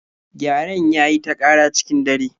Gyaren ya yi ta ƙara cikin dare